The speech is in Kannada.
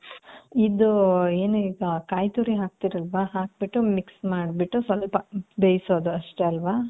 ಇದೂ ಏನು ಈಗ ಕಾಯಿ ತುರಿ ಹಾಕ್ತಿರ್ ಅಲ್ವ ಹಾಕ್ಬಿಟ್ಟು mix ಮಾಡ್ಬಿಟ್ಟು ಸ್ವಲ್ಪ ಬೈಸೋದು ಅಷ್ಟೆ ಅಲ್ವ.